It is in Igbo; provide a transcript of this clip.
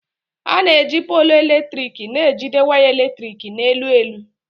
A na-eji póolu eletrik na-ejide waya eletrik na elu elu.